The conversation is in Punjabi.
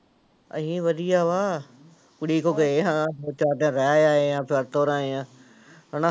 ਅਸੀਂ ਵਧੀਆ ਵਾ, ਕੁੜੀ ਕੋਲ ਗਏ ਹਾਂ ਚਾਰ ਦਿਨ ਰਹਿ ਆਏ ਹਾਂ, ਫਿਰ ਤੁਰ ਆਏ ਹਾਂ ਹਨਾ।